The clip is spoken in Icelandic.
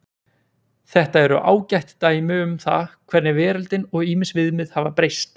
Þetta eru ágætt dæmi um það hvernig veröldin og ýmis viðmið hafa breyst.